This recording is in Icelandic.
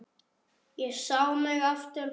Ég sé mig aftur barn.